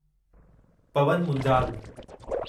Pawan Munjal